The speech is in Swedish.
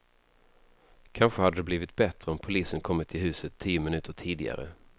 Kanske hade det varit bättre om polisen kommit till huset tio minuter tidigare.